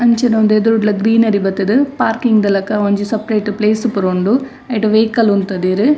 ಅಂಚಿನ ಉಂದು ಎದುರುಡ್ಲ ಗ್ರೀನರಿ ಬತುದು ಪಾರ್ಕಿಂಗ್ ದ ಲಕ ಒಂಜಿ ಸಪರೇಟ್ ಪ್ಲೇಸ್ ಪೂರ ಉಂಡು ಐಟ್ ವೈಕಲ್ ಉಂತದೆರ್.